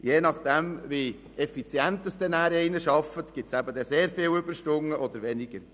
Je nachdem, wie effizient jemand arbeitet, resultieren sehr viele Überstunden oder weniger.